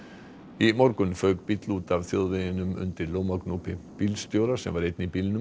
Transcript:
í morgun fauk bíll út af þjóðveginum undir bílstjóra sem var einn í bílnum